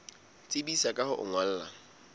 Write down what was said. tsebisa ka ho o ngolla